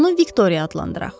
Onu Viktoriya adlandıraq.